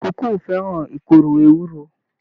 Ìkókó o fẹràn ìkòrò ewúro.